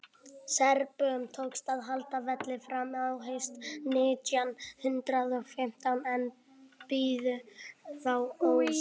serbum tókst að halda velli fram á haust nítján hundrað og fimmtán en biðu þá ósigur